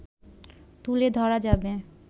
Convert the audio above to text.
তুলে ধরা যাবে